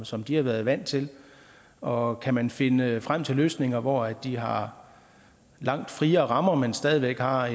som de har været vant til og kan man finde frem til løsninger hvor de har langt friere rammer men stadig væk har